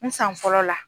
N san fɔlɔ la